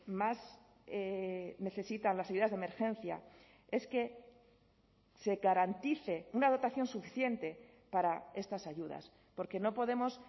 más necesitan las ayudas de emergencia es que se garantice una dotación suficiente para estas ayudas porque no podemos